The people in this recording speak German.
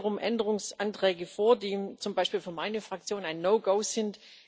Es liegen wiederum Änderungsanträge vor, die zum Beispiel für meine Fraktion ein No Go sind.